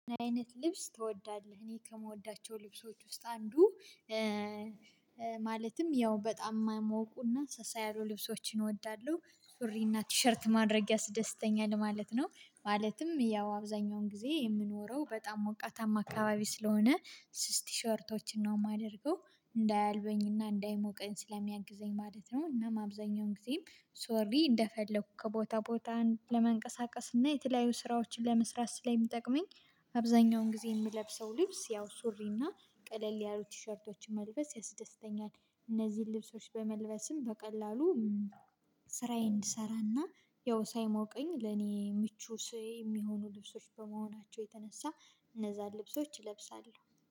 ምን አይነት ልብስ ትወዳለህ? እኔ ከምወዳቸው ልብሶች ውስጥ አንዱ ማለትም ያው በጣም ማይሞቁና ሳሳ ያሉ ልብሶችን እወዳለሁ ሱሪና ቲሸርት ማድረግ ያስደስተኛል ማለት ነው። ማለትም ያው አብዛኛውን ጊዜ የምኖረው በጣም ሞቃታማ አካባቢ ስለሆነ ስስ ቲሸርቶችን ነው ማደርገው እንዳያልበኝና እንዳይሞቀኝ ስለሚያግዘኝ ማለት ነው። እና አብዛኛውን ጊዜም ሶሪ እንደፈለኩ ከቦታ ቦታን ለመንቀሳቀስ እና የተለያዩ ስራዎችን ለመስራት ስለሚጠቅመኝ። አብዛኛውን ጊዜ የምለብሰው ልብስ ያው ሱሪና ቀለል ያሉ ቲሸርቶችን መልበስ ያስደስተኛል። እነዚህን ልብሶች በመልበስም በቀላሉ ስራዬን እንድሰራና ያው ሳይሞቀኝ ለኔ ምቹ ስዬ የሚሆኑ ልብሶች በመሆናቸው የተነሳ እነዛን ልብሶች እለብሳለው